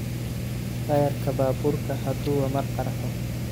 Tayarka baburka haduwa mar qarxo.